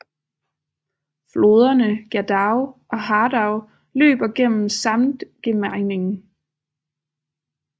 Floderne Gerdau og Hardau løber gennem Samtgemeinden